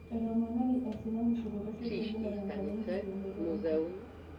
Etoponari aisinanisho to losho le Uganda tenkata enkikenoto enkop